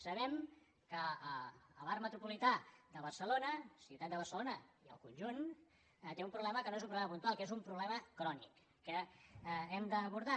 sabem que l’arc metropolità de barcelona ciutat de barcelona i el conjunt té un problema que no és un problema puntual que és un problema crònic que hem d’abordar